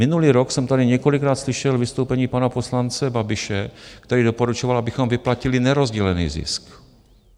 Minulý rok jsem tady několikrát slyšel vystoupení pana poslance Babiše, který doporučoval, abychom vyplatili nerozdělený zisk.